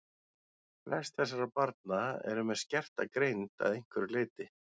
Flest þessara barna eru með skerta greind að einhverju leyti.